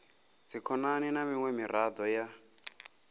dzikhonani na miṅwe miraḓo ya